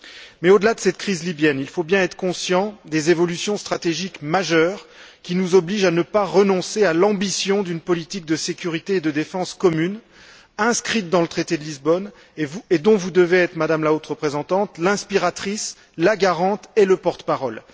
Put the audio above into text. Mais au delà de cette crise libyenne, il faut bien être conscient des évolutions stratégiques majeures qui nous obligent à ne pas renoncer à l'ambition d'une politique de sécurité et de défense commune, inscrite dans le traité de Lisbonne et dont vous devez être, Madame la Haute représentante, l'inspiratrice, la garante et le porte parole.